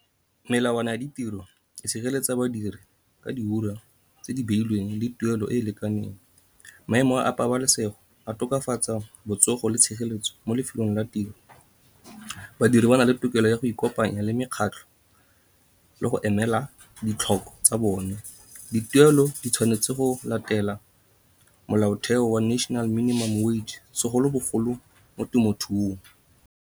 Melawana ya ditiro e sireletsa badiri ka di ura tse di beilweng le tuelo e e lekaneng. Maemo a pabalesego a tokafatsa botsogo le tshireletso mo lefelong la tiro. Badiri ba na le tokelo go ya go ikopanya le mekgatlho le go emela ditlhoko tsa bone. Dituelo di tshwanetse go latela molaotheo wa national minimum wage, segolobogolo mo temothuong.